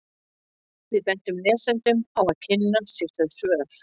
Við bendum lesendum á að kynna sér þau svör.